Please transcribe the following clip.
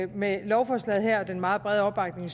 med lovforslaget her og den meget brede opbakning